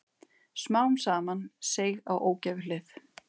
Smám saman seig á ógæfuhlið.